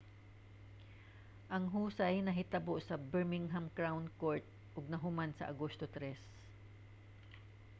ang husay nahitabo sa birmingham crown court ug nahuman sa agosto 3